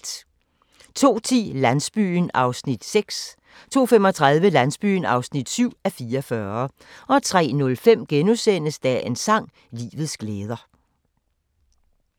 02:10: Landsbyen (6:44) 02:35: Landsbyen (7:44) 03:05: Dagens sang: Livets glæder *